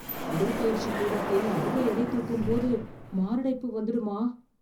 உடற்பயிற்சி கூடத்தில் அதிக எடை தூக்கும்போது மாரடைப்பு வந்துடுமா